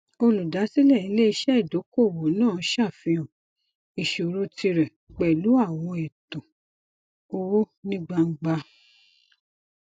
olùdásílẹ iléiṣẹ idokoowó náà ṣàfihàn ìṣòro tirẹ pẹlú àwọn ẹtan owó ní gbangba